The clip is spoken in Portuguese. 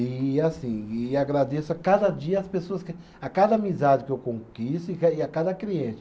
E assim, e agradeço a cada dia as pessoas que, a cada amizade que eu conquisto e ca, e a cada cliente.